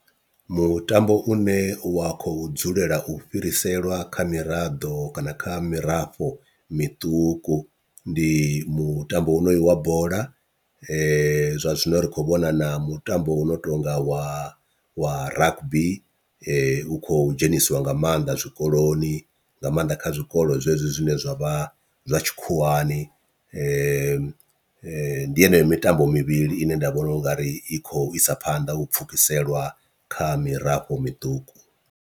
Mutambo une wa khou dzulela u fhiriselwa kha miraḓo kana kha mirafho miṱuku ndi mutambo wonoyu wa bola, zwa zwino ri khou vhona na mutambo u no tonga wa wa rugby u kho dzhenisiwa nga maanḓa zwikoloni nga maanḓa kha zwikolo zwezwo zwine zwa vha zwa tshikhuwani ndi yeneyo mitambo mivhili ine nda vhona ungari i khou isa phanḓa u pfhukiseliwa kha mirafho miṱuku.